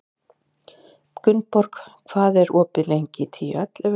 Gunnborg, hvað er opið lengi í Tíu ellefu?